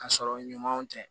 Ka sɔrɔ ɲumanw tɛ